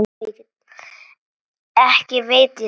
Ekki veit ég það.